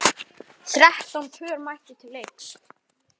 Þrettán pör mættu til leiks.